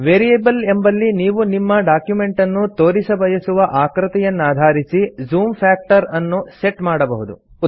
variable ಎಂಬಲ್ಲಿ ನೀವು ನಿಮ್ಮ ಡಾಕ್ಯುಮೆಂಟನ್ನು ತೋರಿಸಬಯಸುವ ಆಕೃತಿಯನ್ನಧಾರಿಸಿ ಜೂಮ್ ಫ್ಯಾಕ್ಟರ್ ಅನ್ನು ಸೆಟ್ ಮಾಡಬಹುದು